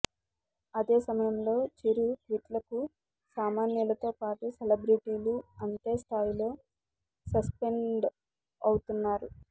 అదే సమయంలో చిరు ట్వీట్లకు సామాన్యులతో పాటు సెలబ్రిటీలు అంతే స్థాయిలో రెస్పాన్డ్ అవుతున్నారు